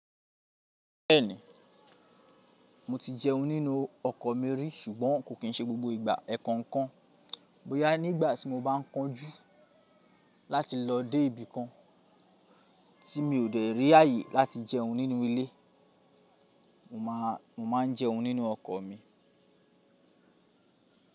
Bẹ́ẹ̀ni, mo ti jẹun nínú ọkọ̀ mi rí ṣùgbọ́n kò kín ṣe gbogbo ìgbà. Ẹ̀ẹ̀kan kan bóyá nígbàtí mo bá kánjú láti lọ dé ibì kan tí mi ò dè rí ààyè láti jẹun nínú ilé, mo máà ń jẹun nínú ọkọ̀ mi.